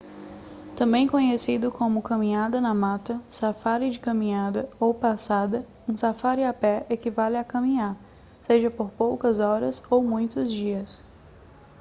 também conhecido como caminhada na mata safári de caminhada ou passada um safári a pé equivale a caminhar seja por poucas horas ou muitos dias